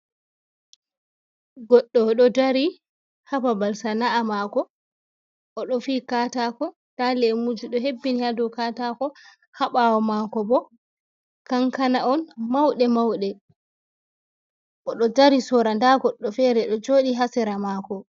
Goɗɗo, o ɗo dari ha babal sana’a mako. O ɗo fiyi katako, nda lemuji ɗo hebbini ha dou katako, ha ɓaawo mako bo kankana on mauɗe-mauɗe, o ɗo dari sora, nda goɗɗo fere ɗo joɗi ha sera mako.